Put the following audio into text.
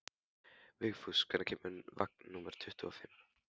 Vigfús, hvenær kemur vagn númer tuttugu og fimm?